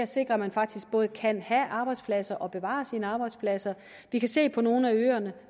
sikrer at man faktisk både kan have arbejdspladser og bevare sine arbejdspladser vi kan se på nogle af øerne